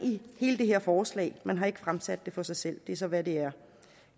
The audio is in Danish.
i det her forslag man har ikke fremsat det for sig selv det er så hvad det er